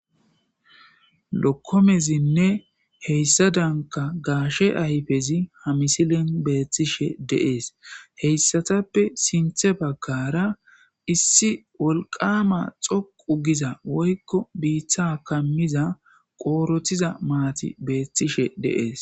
Lokkomezinne heyssa danka gaashe ayfezi hamisilin beethtishe deees heyssatappe sinthe baggara issi wolqama xoqu giza woykko biiththa kammiza qoorothiza maati beethtishe deees.